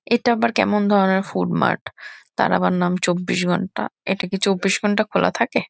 এটা আবার কেমন ধরণের ফুডমার্ট ? তার আবার নাম চব্বিশ ঘন্টা। এটা কি চব্বিশ ঘন্টা খোলা থাকে?